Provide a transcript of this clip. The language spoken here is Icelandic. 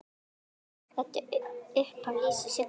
Þetta upphaf lýsir Siggu vel.